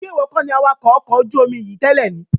Ṣé ìwọ kọ́ni awakọ̀ ọkọ̀ ojú omi yìí tẹ́lẹ̀ ni?